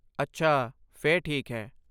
ਅੱਛਾ, ਫਿਰ ਠੀਕ ਹੈ।